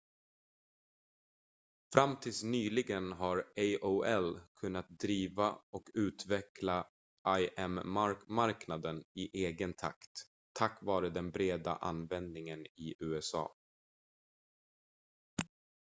fram tills nyligen har aol kunnat driva och utveckla im-marknaden i egen takt tack vare den breda användningen i usa